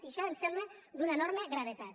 i això em sembla d’una enorme gravetat